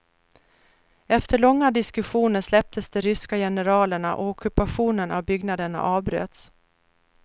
Efter långa diskussioner släpptes de ryska generalerna och ockupationen av byggnaderna avbröts.